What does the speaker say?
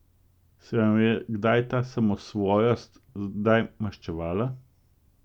Se vama je kdaj ta samosvojost kdaj maščevala?